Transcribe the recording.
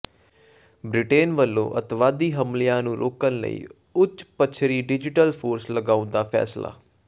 Britain ਵੱਲੋਂ ਅੱਤਵਾਦੀ ਹਮਲਿਆਂ ਨੂੰ ਰੋਕਣ ਲਈ ਉੱਚ ਪੱਛਰੀ ਡਿਜੀਟਲ ਫੋਰਸ ਲਗਾਉਣ ਦਾ ਫੈਸਲਾ